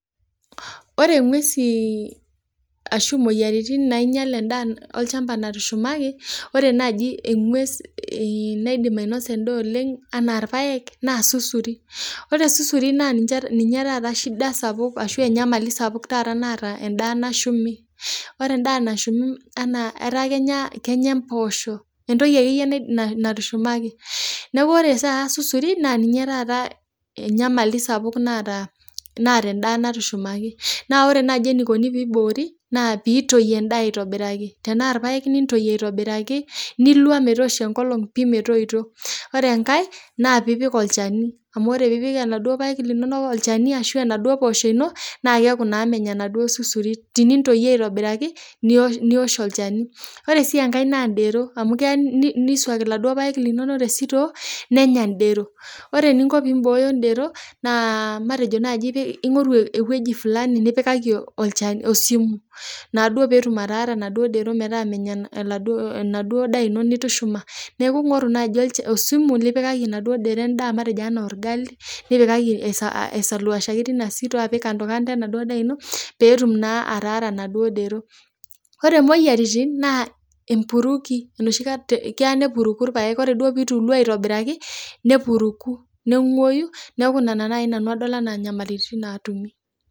Ore inguesi ashu imoyiaritin nainyal endaa olchamba natushumaki naaji engues naidim ainosa endaa anaa irpaek naa sursuri. Pre esursuri naa ninche ninyee taata eshida sapuk ashu enyamali sapuk taata naata endaa nashumi. Ore endaa nashumi enaa etaa kenyaa impoosho, entoki ake iyie muj natushumaki, naaku Ore taata surisuri naa ninye taata enyamali sapuk naata endaa natushumaki, naa ore naaji eneikoni teneiboori, naa piintoi endaa aitobiraki, tanaa irpaek niintoi aitobiraki nilua metoosho enkolong pii metoito. Ore enkae naa piipik olchani, amu ore piipik eladuo irpaek linono olchani ashu enaduo poosho ino, naa keaku naa menya enaduo surisuri, tenintoi iyie aitobiraki, niwuosh olcheni. Ore si enkae naa indero, amu keya neisuaku enaduo irpaek linono te sitoo, nenya indero. Ore eninko piimbooyo indero naa matejo naaji ingoru eweji nipikika olchani esumu naduo peetum ataara naduo indero metaa menya enaduo indaa ino nitushuma, neaku ingoru naaji olchani osumu nipikaki enaduo dero endaa matejo olgali, nipikaki ailuasaki teina sutoo ashu itipika enaduo indaa ino peetum naa ataara enaduo dero. Ore moyaritin naa empuruki, noshi kata keyaa neipiruki irpaek, ore duo peetu iluaa aitobiraki nepuruku neing'uayu neaku naa, nena nai adol nanu enaa inyamaliritin naatimi.